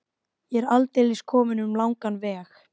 Ég er aldeilis kominn um langan veg.